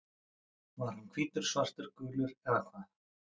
Var hann hvítur, svartur, gulur eða hvað?